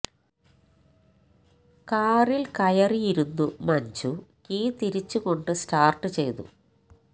കാറിൽ കയറി ഇരുന്നു മഞ്ജു കീ തിരിച്ചുകൊണ്ടു സ്റ്റാർട്ട് ചെയ്തു